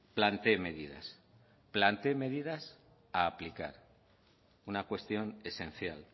plantee medidas plantee medidas a aplicar una cuestión esencial